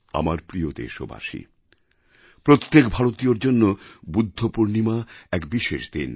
আমার প্রিয় দেশবাসী প্রত্যেক ভারতীয়র জন্য বুদ্ধপূর্ণিমা এক বিশেষ দিন